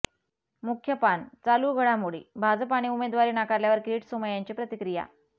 मुख्य पान चालू घडामोडी भाजपाने उमेदवारी नाकारल्यावर किरीट सोमय्यांची प्रतिक्रिया